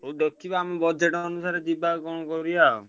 ହଉ ଦେଖିବା ଆମ budget ଅନୁସାରେ ଯିବା କଣ କରିଆ ଆଉ।